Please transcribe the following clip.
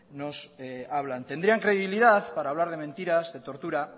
nos hablan tendrían credibilidad para hablar de mentiras de tortura